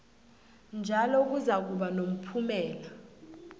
njalo kuzakuba nomphumela